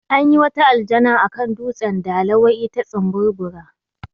Anyi wata aljana akan dutsen dala wai ita tsimburbura